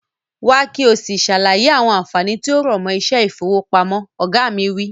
Wá ki o si sàlàyé àwọn ànfàní tí ó rọ̀mọ́ iṣẹ́ ifowopamọ. Oga mi wi.